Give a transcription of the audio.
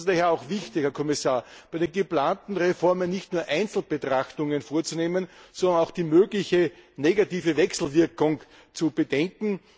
Es ist daher auch wichtig, Herr Kommissar, bei den geplanten Reformen nicht nur Einzelbetrachtungen vorzunehmen, sondern auch die mögliche negative Wechselwirkung zu bedenken.